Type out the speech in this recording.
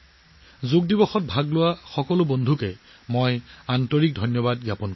যোগ দিৱসত অংশগ্ৰহণ কৰা সকলো বন্ধুবৰ্গৰ প্ৰতি মোৰ আন্তৰিক কৃতজ্ঞতা প্ৰকাশ কৰিছো